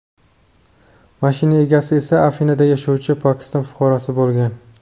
Mashina egasi esa Afinada yashovchi Pokiston fuqarosi bo‘lgan.